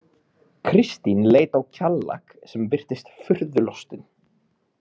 Kristín leit á Kjallak sem virtist furðu lostinn.